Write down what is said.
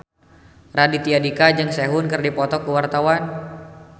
Raditya Dika jeung Sehun keur dipoto ku wartawan